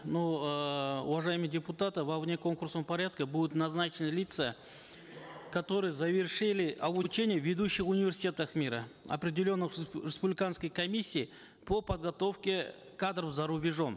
ну эээ уважаемые депутаты во внеконкурсном порядке будут назначены лица которые завершили обучение в ведущих университетах мира определенных республиканской комиссией по подготовке кадров зарубежом